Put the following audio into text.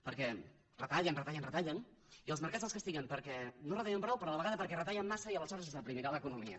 perquè retallen retallen retallen i els mercats els castiguen perquè no retallen prou però a la vegada perquè retallen massa i aleshores es deprimirà l’economia